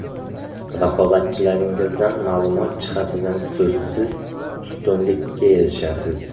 Raqobatchilaringizdan ma’lumot jihatidan so‘zsiz ustunlikka erishasiz.